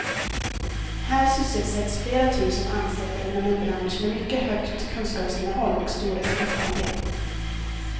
Här sysselsätts flera tusen anställda inom en bransch med mycket högt kunskapsinnehåll och stor exportandel.